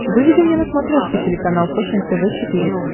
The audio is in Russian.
выведи мне на смотрешке телеканал фэшен тв четыре к